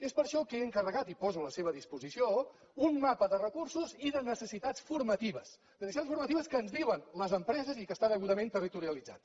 és per això que he encarregat i poso a la seva disposició un mapa de recursos i de necessitats formatives de necessitats formatives que ens diuen les empreses i que està degudament territorialitzat